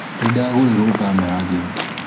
Nĩndagũrĩrũo kamera njerũ.